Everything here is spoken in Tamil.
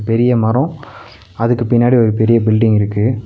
பெரிய மரோ அதுக்கு பின்னாடி ஒரு பெரிய பில்டிங் இருக்கு.